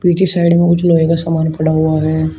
पीछे साइड में कुछ लोहे का सामान पड़ा हुआ है।